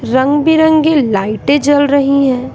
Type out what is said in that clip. रंग बिरंगे लाइटें जल रही हैं।